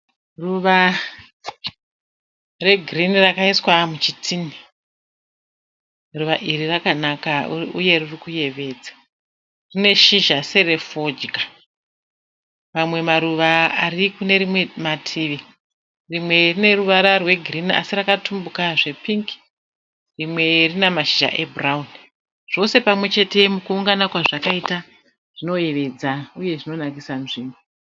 Ruva regirini rakaiswa muchitini. Ruva iri rakanaka uye riri kuyevedza. Rine shizha serefodya. Mamwe maruva ari kune rimwe mativi. Rimwe rine ruvara rwegirini asi rakatumbuka zvepingi. Rimwe rina mashizha ebhurauni. Zvose pamwe chete kuungana kwazvakaita zvinoyevedza uye zvinonakisa nzvimbo.